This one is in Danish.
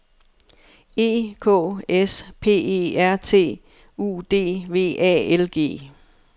E K S P E R T U D V A L G